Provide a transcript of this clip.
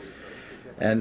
en